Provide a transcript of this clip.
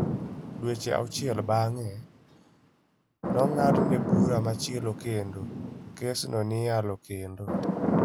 Dweche auchiel bang'e, nong'adne bura machielo kendo kes no ni yalo kendo.